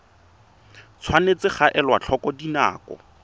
tshwanetse ga elwa tlhoko dinako